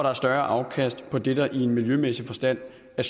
er større afkast på det der i miljømæssig forstand er